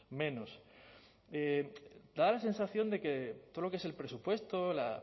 menos da la sensación de que todo lo que es el presupuesto la